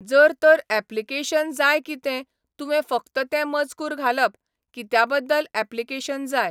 जर तर एप्लीकेशन जाय कितें, तुवें फक्त तें मजकूर घालप, कित्या बद्दल एप्लीकेशन जाय.